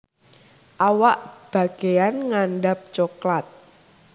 Awak bageyan ngandhap coklat